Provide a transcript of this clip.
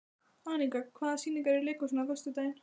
Anika, hvaða sýningar eru í leikhúsinu á föstudaginn?